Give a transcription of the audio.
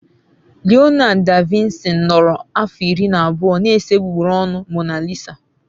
Leonardo da Vinci nọrọ afọ iri na abụọ na-ese egbugbere ọnụ Mona Lisa.